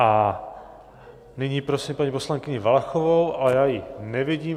A nyní prosím paní poslankyni Valachovou, ale já ji nevidím.